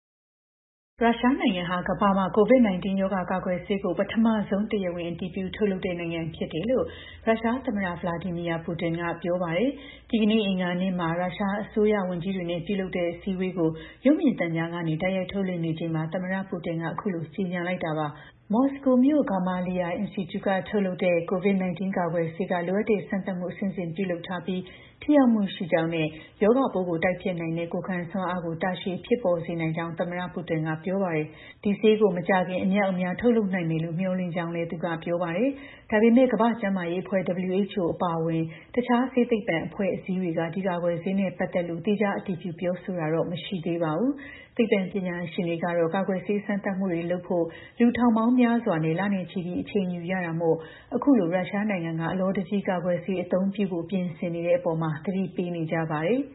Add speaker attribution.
Speaker 1: ရုရှားနိုင်ငံဟာ ကမ္ဘာမှာ COVID 19 ရောဂါကာကွယ်ဆေးကို ပထမဆုံး တရားဝင် အတည်ပြုထုတ်လုပ်နိုင်တဲ့ နိုင်ငံဖြစ်တယ်လို့ ရုရှား သမ္မတ Vladimir Putin က ပြောပါတယ်။ ဒီကနေ့ အင်္ဂါနေ့မှာ ရုရှား အစိုးရ ဝန်ကြီးတွေနဲ့ ပြုလုပ်နေတဲ့ အစည်းအဝေးကို ရုပ်မြင်သံကြားကနေ တိုက်ရိုက် ထုတ်လွှင့်နေချိန်မှာ သမ္မတ Putin က အခုလို ကြေညာလိုက်တာပါ။ မော်စကိုမြို့က Gamaleya Institute ထုတ်လုပ်တဲ့ COVID 19 ကာကွယ်ဆေးက လိုအပ်တဲ့ စမ်းသပ်မှု အဆင့်ဆင့် ပြုလုပ်ထားပြီး ထိရောက်မှုရှိကြောင်းနဲ့ ရောဂါပိုးကို တိုက်ဖျက်နိုင်တဲ့ ကိုယ်ံစွမ်းအားကို တာရှည်ဖြစ်ပေါ်စေနိုင်ကြောင်း သမ္မတ Putin ကပြောပါတယ်။ ဒီဆေးကို မကြာခင် အမြောက်အမြား ထုတ်လုပ်နိုင်မယ်လို့ မျှော်လင့်ကြောင်းလည်း သူက ပြောပါတယ်။ ဒါပေမဲ့ ကမ္ဘာ့ကျန်းမာရေး အဖွဲ့ WHO အပါအဝင် တခြား ဆေးသိပ္ပံအဖွဲ့အစည်းတွေက ဒီကာကွယ်ဆေးနဲ့ ပတ်သက်လို့ သီးခြား အတည်ပြုပြောဆိုတာတော့ မရှိသေးပါဘူး။ သိပ္ပံပညာရှင်တွေကတော့ ကာကွယ်ဆေး စမ်းသပ်မှုတွေကို လုပ်ဖို့ လူ ထောင်ပေါင်း များစွာနဲ့ လနဲ့ ချီပြီး အချိန်ယူရတာမို့ အခုလို ရုရှားနိုင်ငံက အလောတကြီး ကာကွယ်ဆေးအသုံးပြုဖို့ ပြင်ဆင်နေတဲ့ အပေါ်
Speaker 2: သတိပေးနေကြပါတယ်။